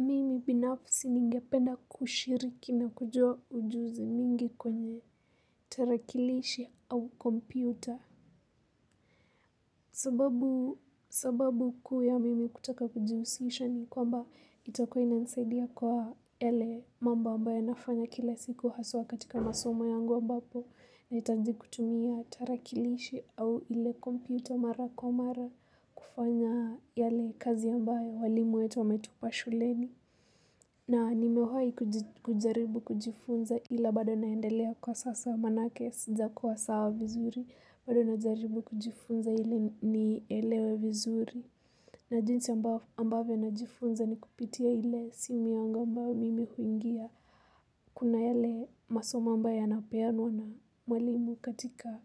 Mimi binafsi ningependa kushiriki na kujua ujuzi mingi kwenye tarakilishi au kompyuta. Sababu kuu ya mimi kutaka kujihusisha ni kwamba itakuwa inanisaidia kwa yale mambo ambayo nafanya kila siku haswa katika masoma yangu ambapo na hitaji kutumia tarakilishi au ile kompyuta mara kwa mara kufanya yale kazi ambayo walimu wetu wametupa shuleni. Na nimewahi kujaribu kujifunza ila bado naendelea kwa sasa manake sija kuwa sawa vizuri bado najaribu kujifunza ili ni elewe vizuri na jinsi ambavyo na jifunza ni kupitia ile simu yangu mbao mimi huingia. Kuna yale masomo ambayo yanapeanwa na mwalimu katika